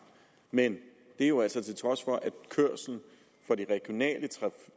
men det er jo altså til trods for at kørslen for de regionale